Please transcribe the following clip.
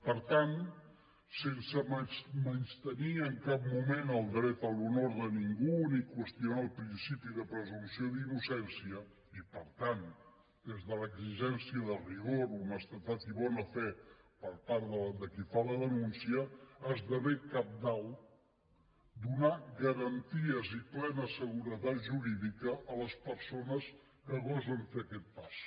per tant sense menystenir en cap moment el dret a l’honor de ningú ni qüestionar el principi de presumpció d’innocència i per tant des de l’exigència de rigor honestedat i bona fe per part de qui fa la denúncia esdevé cabdal donar garanties i plena seguretat jurídica a les persones que gosen fer aquest pas